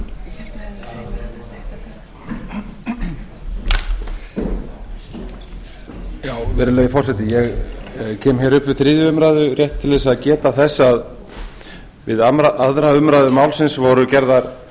virðulegi forseti ég kem hér upp við þriðju umræðu rétt til að geta þess að við aðra umræðu málsins voru gerðar